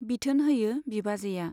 बिथोन होयो बिबाजैया।